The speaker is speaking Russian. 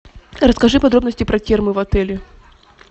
расскажи подробности про термы в отеле